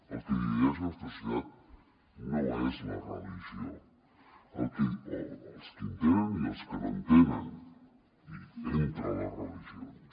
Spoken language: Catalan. el que divideix la nostra societat no és la religió els que en tenen i els que no en tenen i entre les religions